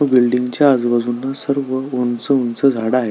व बिल्डिंग च्या आजूबाजुनी सर्व उंच उंच झाड आहे.